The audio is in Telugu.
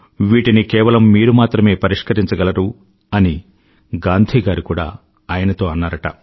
వీటిని కేవలం మీరు మాత్రమే పరిష్కరించగలరు అని గాంధీగారు కూడా ఆయనతో అన్నారుట